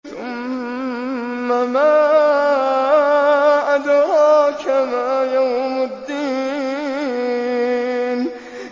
ثُمَّ مَا أَدْرَاكَ مَا يَوْمُ الدِّينِ